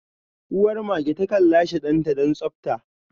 Uwar mage takan lashe danta don tsabta.